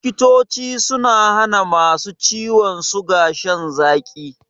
Likitoci sun hana ma su ciwon suga shan zaƙi.